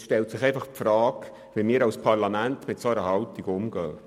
Es stellt sich nun die Frage, wie wir als Parlament mit dieser Haltung umgehen.